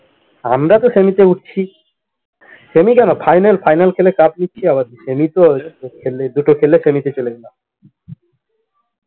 আমরাতো semi তে উঠছি, semi কেন final final খেলে cup নিচ্ছি আবার কি, semi তো খেললে দুটো খেললে semi তে চলে যায়